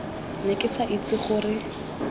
ne ke sa itse gore